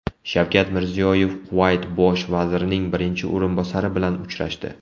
Shavkat Mirziyoyev Kuvayt Bosh vazirining birinchi o‘rinbosari bilan uchrashdi.